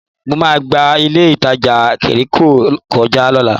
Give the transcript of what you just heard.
Mo máa gba ilé-ìtajà Jẹ́ríkò kọjá lọ́la